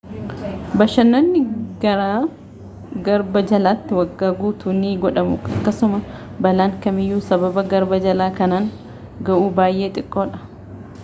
bashannanni garaa garba jalattii waggaa guutuu ni godhamu akkasuma balaan kamiyyuu sababa garba jalaa kanaan gahu baayyee xiqqoodha